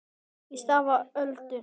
Í stað Öldu